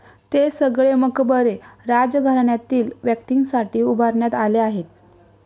ते सगळे मकबरे राजघराण्यातील व्यक्तींसाठी उभारण्यात आले आहेत.